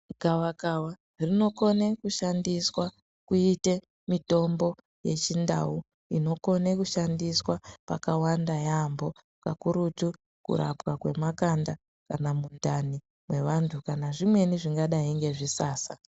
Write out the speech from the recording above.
Gavakava rinokone kushandiswa kuite mitombo yechindau inokone kushandiswa pakawanda yambo kakurutu kurapwa kwemakanda kana mundani mwevantu kana zvimweni zvingadai ngezvisasa.